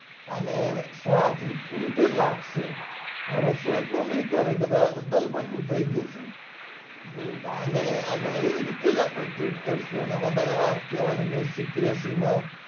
સ્વાર્થ ની રીતે જ રાખશે ભરોસો એટલો નઈ કરે કે આતો તાલમઠ્ઠા નું થઇ ગયું છે તો આને આને એવી રીતે જ આપડે ટ્રીટ કરશું આને વધારે વાત કરવાની